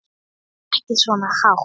Ekki svona hátt.